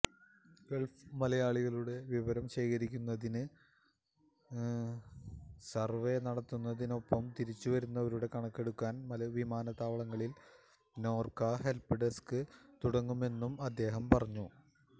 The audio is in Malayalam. ഗള്ഫ് മലയാളികളുടെ വിവരം ശേഖരിക്കുന്നതിന് സര്വെ നടത്തുന്നതിനൊപ്പം തിരിച്ചുവരുന്നവരുടെ കണക്കെടുക്കാന് വിമാനത്താവളങ്ങളില് നോര്ക്ക ഹെല്പ് ഡെസ്ക്ക് തുടങ്ങുമെന്നും അദ്ദേഹം പറഞ്ഞു